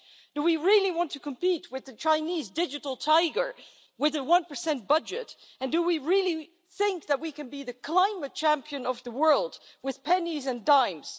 Do we really want to compete with the Chinese digital tiger with a one-percent budget, and do we really think that we can be the climate champion of the world with pennies and dimes?